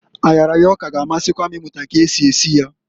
Ayaraya ọka g' amasikwa m imụta ka esi esi ya.